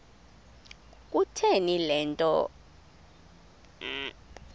kutheni le nto